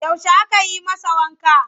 Yaushe aka yi masa wanka?